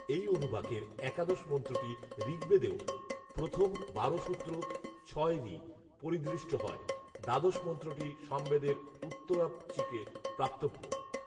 এই অনুবাকের একাদশ মন্ত্রটি ঋগ্বেদেও প্রথম বারো সূত্র ছয় ঋ পরিদৃষ্ট হয়; দ্বাদশ মন্ত্রটি সামবেদের উত্তরার্চিকে প্রাপ্তব্য